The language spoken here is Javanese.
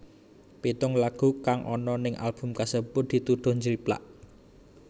Pitung lagu kang ana ning album kasebut dituduh njiplak